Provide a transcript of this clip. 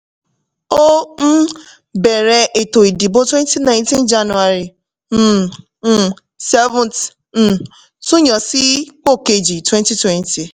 ó um bẹ̀rẹ̀ ètò ìdìbò twenty nineteen january um um seventh tún yàn án sí pò kéji twenty twenty